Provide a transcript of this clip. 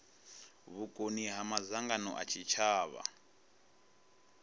vhukoni ha madzangano a tshitshavha